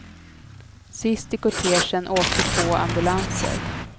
Sist i kortegen åkte två ambulanser.